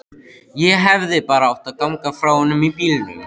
Ég hefði bara átt að ganga frá honum í bílnum.